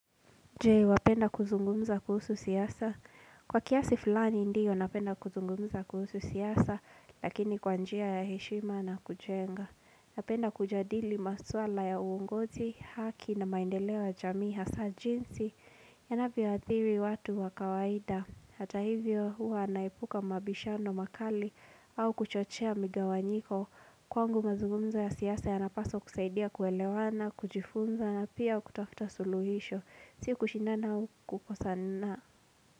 Je, wapenda kuzungumza kuhusu siasa. Kwa kiasi fulani ndiyo, napenda kuzungumza kuhusu siasa, lakini kwanjia ya heshima na kujenga. Napenda kujadili maswala ya ungozi, haki na maendeleo ya jamii hasa jinsi yanavyo athiri watu wakawaida. Hata hivyo, huwa naepuka mabishano makali au kuchochea migawanyiko. Kwangu mazungumzo ya siasa ya napaswa kusaidia kuelewana, kujifunza na pia ukutafuta suluhisho. Sikushindana au kukosana.